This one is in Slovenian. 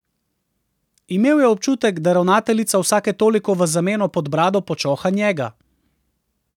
Imel je občutek, da ravnateljica vsake toliko v zameno pod brado počoha njega.